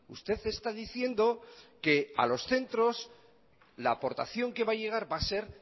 usted está diciendo que a los centros la aportación que va a llegar va a ser